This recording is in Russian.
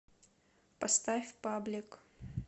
поставь паблик